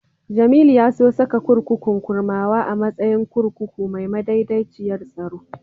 Jamilu ya so saka kurkukun Kurmawa a matsayin kurkuku mai madaidaiciyar tsaro.